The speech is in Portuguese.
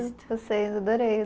Adorei